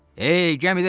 Ey gəmidəkilər!